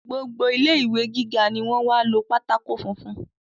Gbogbo ilé ìwé gíga ni wọ́n wá lo pátákó funfun